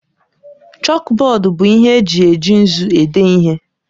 Chọkbọọdu bụ ihe eji eji nzu ede ihe.